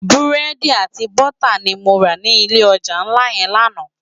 Búrédi àti bútá ni mó rá ni ilé òjá nlá yèn làná